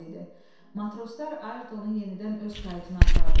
Matroslar Ayertonu yenidən öz kayutuna apardılar.